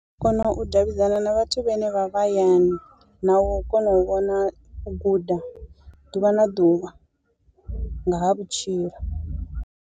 U kona u davhidzana na vhathu vhane vha vha hayani na u kona u vhona u guda ḓuvha na ḓuvha nga ha vhutshilo.